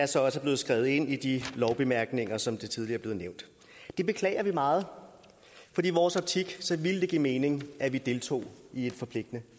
så også blevet skrevet ind i lovbemærkningerne som det tidligere er blevet nævnt det beklager vi meget for i vores optik ville det give mening at vi deltog i et forpligtende